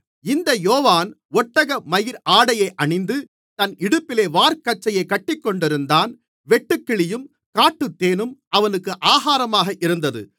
இந்த யோவான் ஒட்டகமயிர் ஆடையை அணிந்து தன் இடுப்பிலே வார்க்கச்சையைக் கட்டிக்கொண்டிருந்தான் வெட்டுக்கிளியும் காட்டுத்தேனும் அவனுக்கு ஆகாரமாக இருந்தது